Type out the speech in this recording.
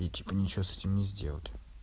и типа ничего с этим не сделать